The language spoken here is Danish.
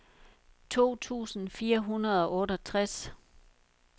to tusind fire hundrede og otteogtres